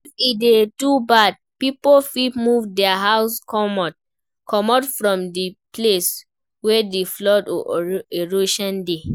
If e dey too bad, pipo fit move their house comot from di place wey di flood or erosion dey